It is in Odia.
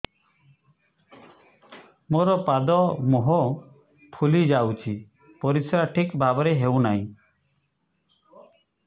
ମୋର ପାଦ ମୁହଁ ଫୁଲି ଯାଉଛି ପରିସ୍ରା ଠିକ୍ ଭାବରେ ହେଉନାହିଁ